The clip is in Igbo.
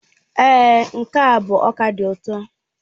Èé, nke a bụ ọka dị ụtọ.